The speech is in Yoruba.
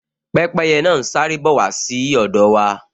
Pẹ́pẹ́yẹ náà n sáré bọ̀ wá sí ọ̀dọ̀ wa